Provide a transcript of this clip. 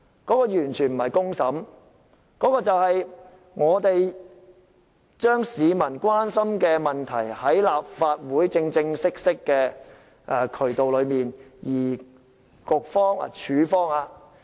這完全不是公審，而是將市民關心的問題，透過立法會這個正式的渠道處理。